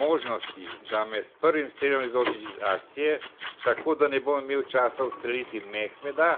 Možnosti, da me s prvim strelom izločiš iz akcije, tako da ne bom imel časa ustreliti Mehmeta,